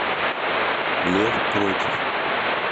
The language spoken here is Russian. лев против